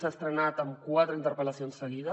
s’ha estrenat amb quatre interpel·lacions seguides